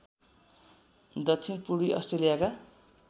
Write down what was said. दक्षिण पूर्वी अस्ट्रेलियाका